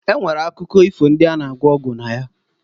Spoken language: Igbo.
E nwere akụkọ ifo ndị a na- agwọ ọgwụ na ya.